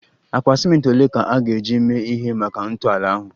Akpa ciment ole ka a ga-eji mee ihe maka ntọala ahụ?